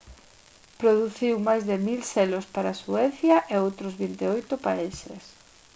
produciu máis de 1000 selos para suecia e outros 28 países